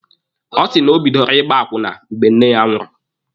Ọ sị na o bidoro ịgba akwụna mgbe nne ya nwụrụ.